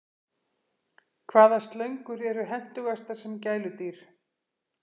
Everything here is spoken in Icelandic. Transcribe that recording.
Hvaða slöngur eru hentugastar sem gæludýr?